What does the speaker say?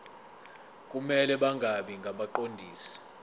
kumele bangabi ngabaqondisi